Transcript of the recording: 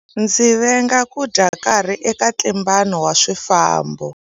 Ndzi venga ku dya nkarhi eka ntlimbano wa swifambo.